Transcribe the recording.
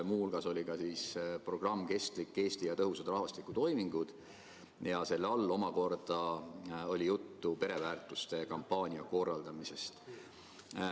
Muu hulgas oli kõne all programm "Kestlik Eesti ja tõhusad rahvastikutoimingud" ja selle raames omakorda oli juttu pereväärtuste kampaania korraldamisest.